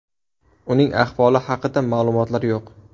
Uning ahvoli haqida ma’lumotlar yo‘q.